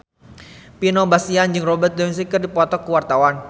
Vino Bastian jeung Robert Downey keur dipoto ku wartawan